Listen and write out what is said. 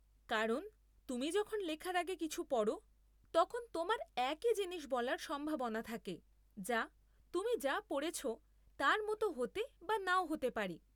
কারণ তুমি যখন লেখার আগে কিছু পড়, তখন তোমার একই জিনিস বলার সম্ভাবনা থাকে যা, তুমি যা পড়েছ তার মতো হতে বা নাও হতে পারে।